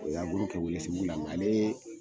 O ye kɛ Welesebugu n k'ale